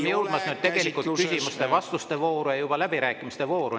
Me oleme tegelikult juba jõudmas küsimuste-vastuste vooru ja läbirääkimiste vooru.